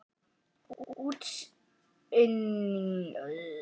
Útsynningur hafði verið um daginn með slæmum hryðjum.